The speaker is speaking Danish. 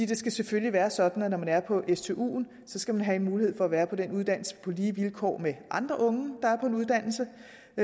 det skal selvfølgelig være sådan at når man er på stuen skal man have en mulighed for at være på den uddannelse på lige vilkår med andre unge der er på en uddannelse